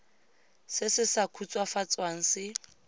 se se sa khutswafatswang se